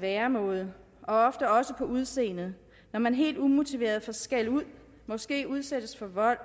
væremåde og ofte også udseende når man helt umotiveret bliver skældt ud måske udsættes for vold